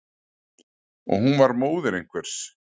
Og hún var móðir einhvers.